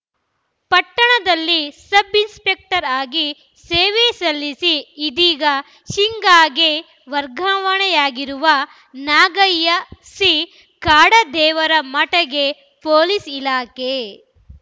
ಪಟ್ಟಣದಲ್ಲಿ ಸಬ್‌ಇನ್ಸಪೆಕ್ಟರ್‌ ಆಗಿ ಸೇವೆ ಸಲ್ಲಿಸಿ ಇದೀಗ ಶಿಗ್ಗಾಂಗೆ ವರ್ಗಾವಣೆಯಾಗಿರುವ ನಾಗಯ್ಯ ಸಿ ಕಾಡದೇವರಮಠಗೆ ಪೊಲೀಸ್‌ ಇಲಾಖೆ